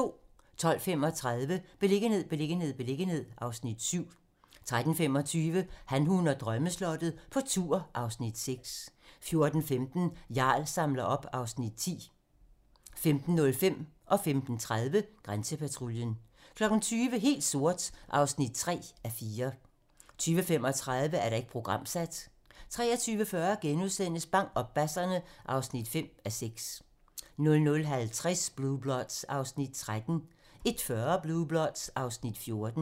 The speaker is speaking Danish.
12:35: Beliggenhed, beliggenhed, beliggenhed (Afs. 7) 13:25: Han, hun og drømmeslottet - på tur (Afs. 6) 14:15: Jarl samler op (Afs. 10) 15:05: Grænsepatruljen 15:30: Grænsepatruljen 20:00: Helt sort (3:4) 20:35: Ikke programsat 23:40: Bang og basserne (5:6)* 00:50: Blue Bloods (Afs. 13) 01:40: Blue Bloods (Afs. 14)